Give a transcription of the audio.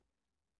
Radio24syv